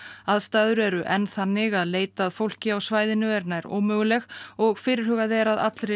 aðstæður eru enn þannig að leit að fólki á svæðinu er nær ómöguleg og fyrirhugað er að allri